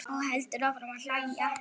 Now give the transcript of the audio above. Og heldur áfram að hlæja.